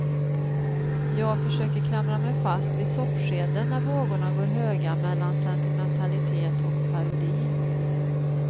Jag försöker klamra mig fast vid soppskeden när vågorna går höga mellan sentimentalitet och parodi.